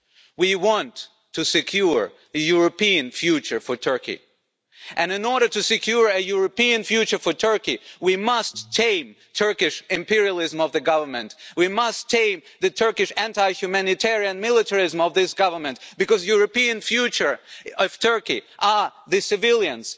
We want to secure a European future for Turkey, and in order to secure a European future for Turkey, we must tame Turkish imperialism of the government and we must tame the Turkish anti humanitarian militarism of this government, because the European future of Turkey are the civilians,